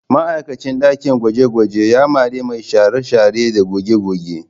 Ma'aikacin ɗakin gwaje-gwajen ya mari mai share-share da goge-goge